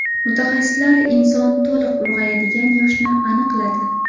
Mutaxassislar inson to‘liq ulg‘ayadigan yoshni aniqladi.